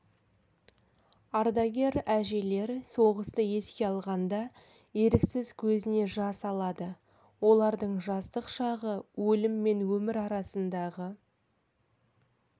ардагер әжелер соғысты еске алғанда еріксіз көзіне жас алады олардың жастық шағы өлім мен өмір арасындағы